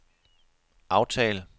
aftal